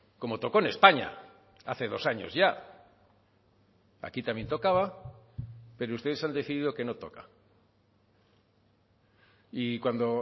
como tocó en españa hace dos años ya aquí también tocaba pero ustedes han decidido que no toca y cuando